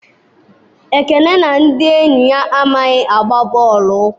Ekene na ndị enyi ya amaghị agba bọọlụ ụkwụ.